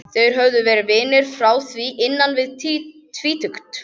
Þeir höfðu verið vinir frá því innan við tvítugt.